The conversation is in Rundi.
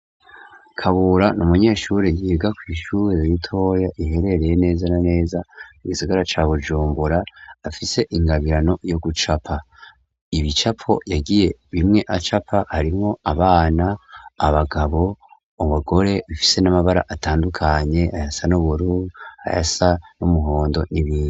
Kabura ni umunyeshure yiga ku ishure ritoya riherereye neza neza ku gisigara ca Bujumbura afise ingabirano yo gucapa ibicapo yagiye bimwe acapa harimwo abana, abagabo, abugore bafise n'amabara atandukanye ayasa n'uburu, ayasa n'umuhondo n'ibindi.